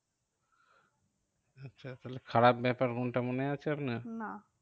আচ্ছা তাহলে খারাপ ব্যাপার কোনটা মনে আছে আপনার? না